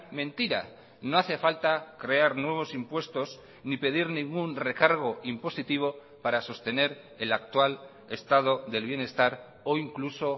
mentira no hace falta crear nuevos impuestos ni pedir ningún recargo impositivo para sostener el actual estado del bienestar o incluso